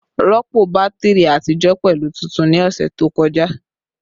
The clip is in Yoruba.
Rọpo batiri atijọ pẹlu tuntun ni ọsẹ to kọja